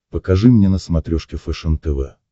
покажи мне на смотрешке фэшен тв